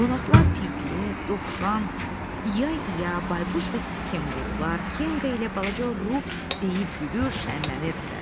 Qonaqlar Piglet, Dovşan, Yay, İya, Bayquş və Kenqurular, Kenqa ilə balaca Ru deyib gülür, şənlənirdilər.